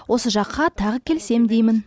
осы жаққа тағы келсем деймін